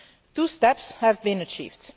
Two steps have been achieved.